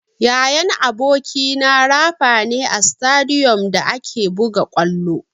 Yayan abokina rafa ne a sitadiyom da ake buga ƙwallo.